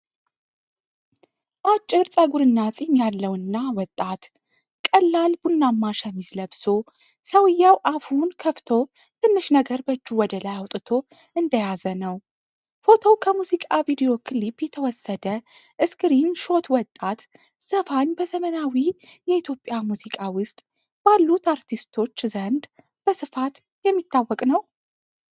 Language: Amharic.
አጭር ጸጉርና ጺም ያለውና ወጣት፣ ቀላል ቡናማ ሸሚዝ ለብሶ ሰውዬው አፉን ከፍቶትንሽ ነገር በእጁ ወደላይ አውጥቶ እንደያዘ ነው። ፎቶው ከሙዚቃ ቪዲዮ ክሊፕ የተወሰደ ስክሪን ሾትወጣት ዘፋኝ በዘመናዊ የኢትዮጵያ ሙዚቃ ውስጥ ባሉት አርቲስቶች ዘንድ በስፋት የሚታወቅ ነው?